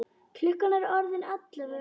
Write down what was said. Klukkan er orðin ellefu!